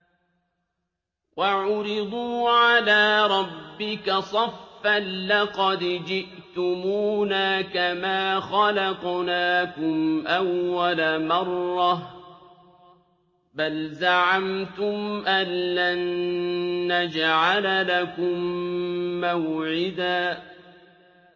وَعُرِضُوا عَلَىٰ رَبِّكَ صَفًّا لَّقَدْ جِئْتُمُونَا كَمَا خَلَقْنَاكُمْ أَوَّلَ مَرَّةٍ ۚ بَلْ زَعَمْتُمْ أَلَّن نَّجْعَلَ لَكُم مَّوْعِدًا